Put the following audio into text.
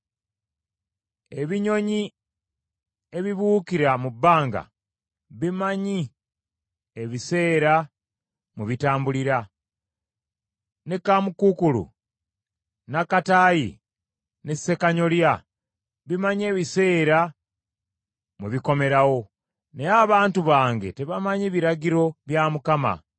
Ebinyonyi ebibuukira mu bbanga bimanyi ebiseera mwe bitambulira; ne kaamukuukulu n’akataayi ne ssekanyolya bimanyi ebiseera mwe bikomerawo, naye abantu bange tebamanyi biragiro bya Mukama .”